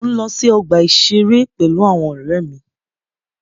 Mo ǹ lọ sí ọgbà ìṣeré pẹ̀lú àwọn ọ̀rẹ́ mi.